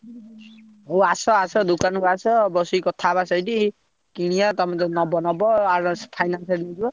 ହଉ ଆସ ଆସ ଦୋକାନକୁ ଆସ ବସିକି କଥା ହେବା ସେଇଠି କିଣିଆ ତମେ ଯଦି ନବ ନବ advance finance ଯିବ।